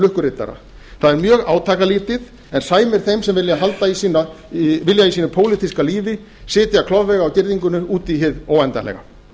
lukkuriddara það er dag átakalítið en sæmir þeim sem vilja í sínu pólitíska lífi sitja klofvega á girðingunum út í hið óendanlega